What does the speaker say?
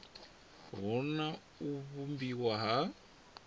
hu na u vhumbiwa ha